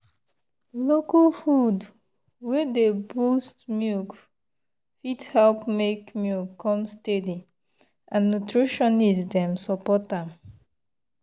local food wey dey boost milk fit help make milk come steady and nutritionist dem support am.